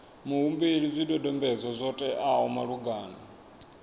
muhumbeli zwidodombedzwa zwo teaho malugana